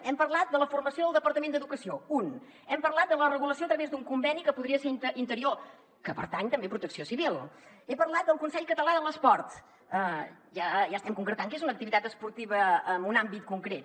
hem parlat de la formació del departament d’educació un hem parlat de la regulació a través d’un conveni que podria ser interior que pertany també a protecció civil he parlat del consell català de l’esport ja estem concretant què és una activitat esportiva en un àmbit concret